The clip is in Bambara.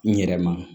N yɛrɛ ma